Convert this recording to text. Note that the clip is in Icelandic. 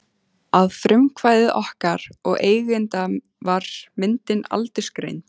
Að frumkvæði okkar og eigenda var myndin aldursgreind.